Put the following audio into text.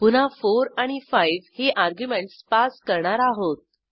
पुन्हा 4 आणि 5 ही अर्ग्युमेंटस पास करणार आहोत